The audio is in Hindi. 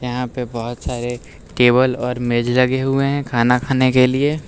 यहां पे बहोत सारे टेबल और मेज लगे हुए हैं खाना खाने के लिए।